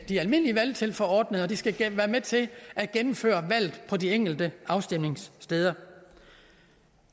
de almindelige valgtilforordnede og de skal være med til at gennemføre valget på de enkelte afstemningssteder